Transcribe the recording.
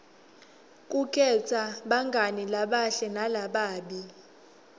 kukhetsa bangani labahle nalababi